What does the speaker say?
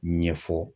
Ɲɛfɔ